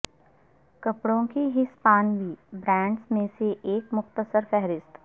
کپڑوں کی ہسپانوی برانڈز میں سے ایک مختصر فہرست